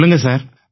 சொல்லுங்க சார்